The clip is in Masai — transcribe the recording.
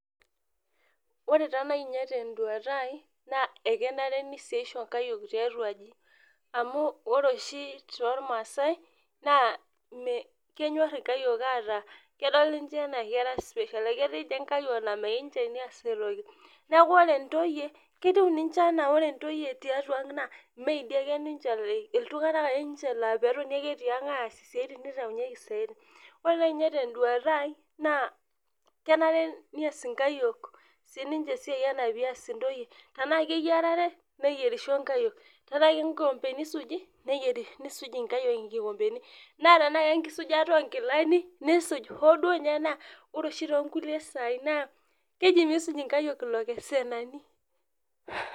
Ore taanai nye tenduata aai na kenare neasisho nkayiok tiatua aji amu ore oshi tormaasai na kenyor nkayiok ataa kedol ninche ana kera special aketii nye nkayiok na meyieu nye neas toki neaku ore ntoyie ketiu ana ore ntokyie tiatua aang na meidi ake ninche, ltunganak ake ninche lapetoni ake tiang as siatin nitaasieki siatin ore nai tenduata aai kenare neas nkayiok